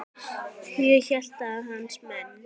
Ég hélt að hans menn.